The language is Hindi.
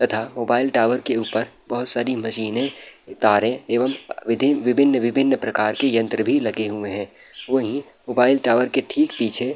तथा मोबाइल टावर के ऊपर बहुत सारी मशीने तारे एवं विधिं विभिन्न-विभिन्न प्रकार के यंत्र भी लगे हुए हैं। वहीं मोबाइल टावर के ठीक पीछे --